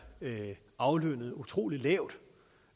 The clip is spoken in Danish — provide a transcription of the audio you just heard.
aflønnet utrolig lavt